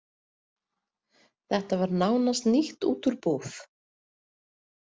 Þetta var nánast nýtt út úr búð.